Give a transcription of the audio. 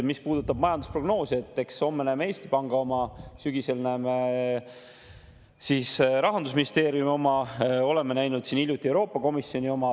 Mis puudutab majandusprognoosi, siis homme näeme Eesti Panga oma, sügisel näeme Rahandusministeeriumi oma, oleme hiljuti näinud Euroopa Komisjoni oma.